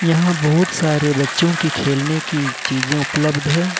यहां बहुत सारे बच्चों की खेलने की चीजें उपलब्ध है।